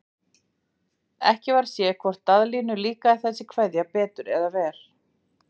Ekki varð séð hvort Daðínu líkaði þessi kveðja betur eða verr.